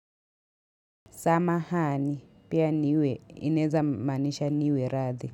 Samahani pia niwe inaweza maanisha niwie radhi.